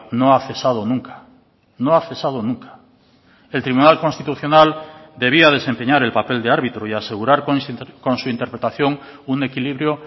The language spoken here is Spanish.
no ha cesado nunca no ha cesado nunca el tribunal constitucional debía desempeñar el papel de árbitro y asegurar con su interpretación un equilibrio